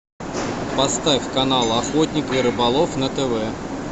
поставь канал охотник и рыболов на тв